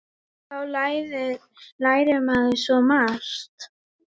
Þá lærir maður svo margt.